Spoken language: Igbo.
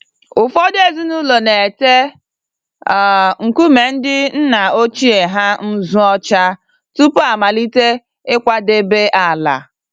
Ụfọdụ ezinụlọ n'ete um nkume ndị nna ochie ha nzụ ọcha tupu amalite ịkwadebe ala.